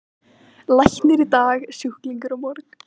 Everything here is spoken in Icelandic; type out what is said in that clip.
Læknir í dag, sjúklingur á morgun.